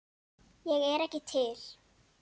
Ég er ekki til.